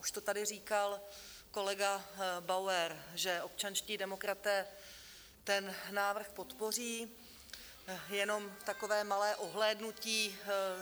Už to tady říkal kolega Bauer, že občanští demokraté ten návrh podpoří, jen takové malé ohlédnutí.